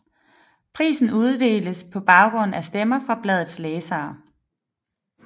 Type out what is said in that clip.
Prisen uddeles på baggrund af stemmer fra bladets læsere